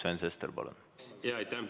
Sven Sester, palun!